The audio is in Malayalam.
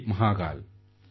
ജയ് മഹാകാൽ